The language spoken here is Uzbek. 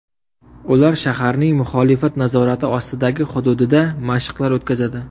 Ular shaharning muxolifat nazorati ostidagi hududida mashqlar o‘tkazadi.